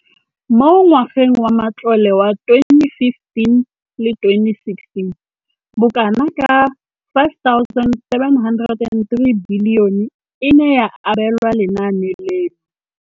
Mo ngwageng wa matlole wa 2015 le 2016, bokanaka 5 703 bilione e ne ya abelwa lenaane leno.